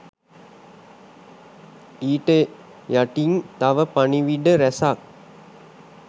ඊට යටින් තව පණිවිඩ රැසක්